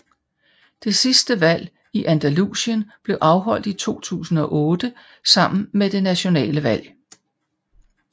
Det sidste valg i Andalusien blev afholdt i 2008 sammen med det nationale valg